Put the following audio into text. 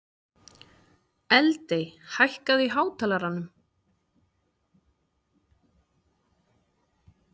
Eldey, hækkaðu í hátalaranum.